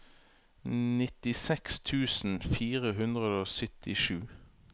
nittiseks tusen fire hundre og syttisju